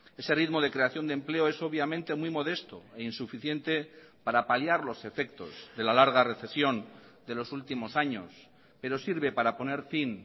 ese ritmo de creación de empleo es obviamente muy modesto e insuficiente para paliar los efectos de la larga recesión de los últimos años pero sirve para poner fin